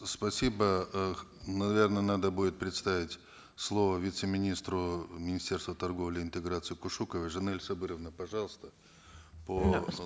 спасибо э наверно надо будет предоставить слово вице министру министерства торговли и интеграции кушуковой жанель сабыровне пожалуйста по